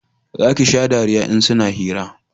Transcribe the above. za ki sha dariya in suna hira